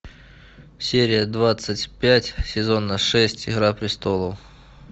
серия двадцать пять сезона шесть игра престолов